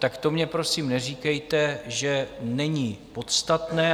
Tak to mně, prosím, neříkejte, že není podstatné.